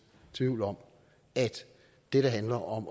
tvivl om at det der handler om